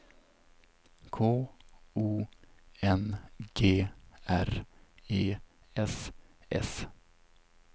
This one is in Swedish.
K O N G R E S S